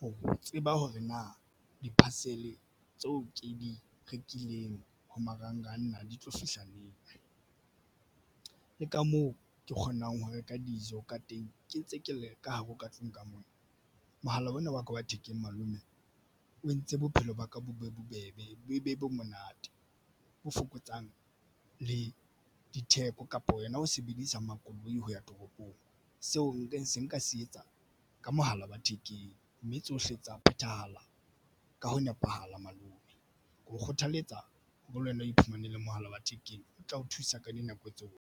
ho tseba hore na di-parcel tseo ke di rekileng ho marangrang na di tlo fihla neng le ka moo ke kgonang ho reka dijo ka teng ke ntse ke le ka hare ho ka tlung ka mona. Mohala ona wa ka wa thekeng malome o entse bophelo ba ka bo be bobebe. Bo be monate ho fokotsang le ditheko kapa wena o sebedisa makoloi hoya toropong seo. Nka se nka se etsa ka mohala wa thekeng mme tsohle tsa phethahala ka ho nepahala. Malome ke o kgothaletsa ho le wena o iphumane le mohala wa thekeng o tla o thusa ka dinako tseo.